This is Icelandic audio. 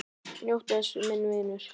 Njóttu þess, minn vinur.